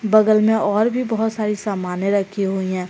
बगल में और भी बहुत सारी सामने रखी हुई हैं।